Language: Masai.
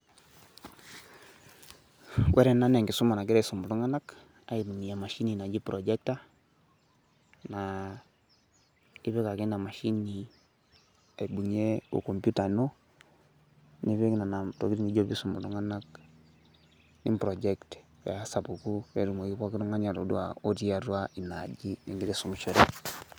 ore ena naa enkisuma nagirae aisum iltunganak aitumia emashini naji projector naa ipik ake ina mashini aibungie o computer ino nipik ina toki nijo pee iisum iltunganak ni project pee esapuku pee etumoki pooki tungani atodua otii atua ina aji nigira aisumishore.